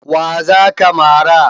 Wa za ka mara?